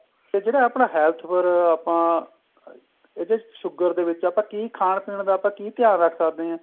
ਤੇ ਜਿਹੜਾ ਆਪਣਾ health ਪਰ ਆਪਾਂ ਇਹਦੇ ਚ sugar ਦੇ ਵਿੱਚ ਆਪਾਂ ਕੀ ਖਾਣ ਪੀਣ ਦਾ ਆਪਾਂ ਕੀ ਧਿਆਨ ਰੱਖ ਸਕਦੇ ਆ